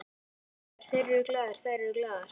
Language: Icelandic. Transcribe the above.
Ég er glaður, þeir eru glaðir, þær eru glaðar.